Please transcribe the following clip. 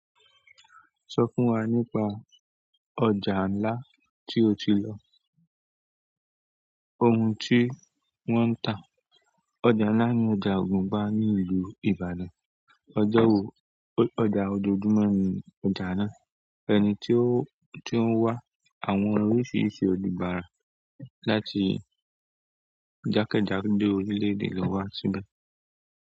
Sọ fún wa nípa ọjà ńlá tí o ti lọ, ohun tí wọ́n ń tà. Ọjà nlá ni ọjà ògùnpa ní ìlú Ìbàdàn. Ọjọ́ wo --ọ ọjà ojoojúmọ́ ní ọjà náà, ẹni tí ó ti o ń wá, àwọn orísiirisi ònibara láti jáke jádo orílẹ̀-èdè lo wa síbẹ̀.